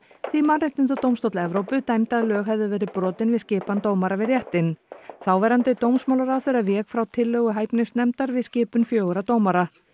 því Mannréttindadómstóll Evrópu dæmdi að lög hefðu verið brotin við skipan dómara við réttinn þáverandi dómsmálaráðherra vék frá tillögu hæfnisnefndar við skipun fjögurra dómara